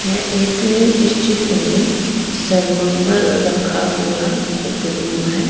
ये एक इस चित्र में सरमोमर रखा हुआ एक रूम है।